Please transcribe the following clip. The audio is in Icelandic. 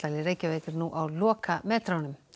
í Reykjavík er nú á lokametrunum